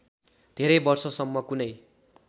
धेरै वर्षसम्म कुनै